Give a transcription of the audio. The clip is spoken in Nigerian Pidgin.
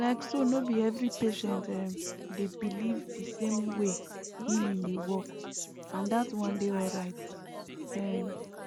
like so no be every patient um dey believe the same way healing dey work and that one dey alright um